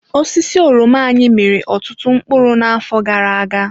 Osisi oroma anyị miri ọtụtụ mkpụrụ n'afọ gara aga.